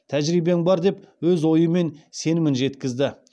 тәжірибең бар деп өз ойы мен сенімін жеткізді